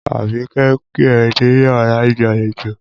Àbíké ń pé ẹ̀ níyàrá ìgbàlejò.